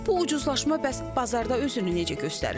Bu ucuzlaşma bəs bazarda özünü necə göstərir?